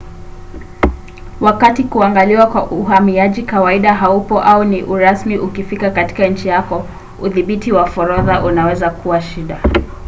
wakati kuangaliwa kwa uhamiaji kawaida haupo au ni urasmi ukifika katika nchi yako udhibiti wa forodha unaweza kuwa shida